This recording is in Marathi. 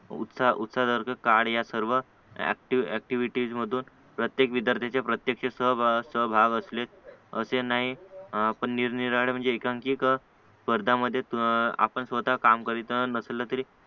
उत्साहदर्शक कार्य या सर्व ऍक्टिव्ह ऍक्टिव्हिटीज मधून प्रत्येक विद्यार्थी चे प्रत्यक्ष सहभाग असलेच असे नाही पण निरनिराळे एकांकिक स्पर्धांमध्ये आपण स्वतः काम करीत नसलं तरी